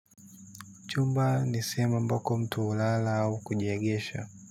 Chumba ni sehemu amabayo mtu hulala au kujiegesha.